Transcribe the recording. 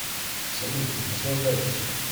салют наслаждайтесь